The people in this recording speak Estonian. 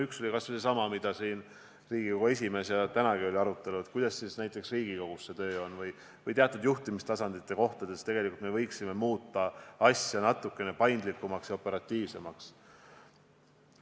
Üks on kas või seesama, mida Riigikogu esimees siin on öelnud, ja tänagi oli arutelu, et kuidas näiteks Riigikogus see töö on ja et teatud juhtimistasanditel võiksime muuta seda natuke paindlikumaks ja operatiivsemaks.